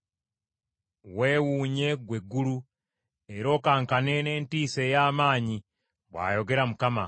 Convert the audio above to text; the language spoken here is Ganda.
Wewuunye ggwe eggulu, era okankane n’entiisa ey’amaanyi,” bw’ayogera Mukama .